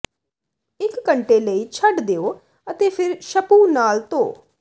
ਇਕ ਘੰਟੇ ਲਈ ਛੱਡ ਦਿਓ ਅਤੇ ਫਿਰ ਸ਼ਪੂ ਨਾਲ ਧੋ